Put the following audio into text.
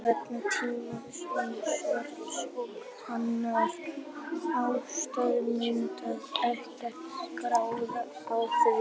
Vegna tímamismunarins og annarra ástæðna myndum við ekkert græða á því.